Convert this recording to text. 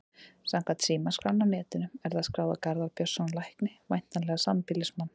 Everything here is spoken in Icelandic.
Samkvæmt símaskránni á netinu er það skráð á Garðar Björnsson lækni, væntanlega sambýlismann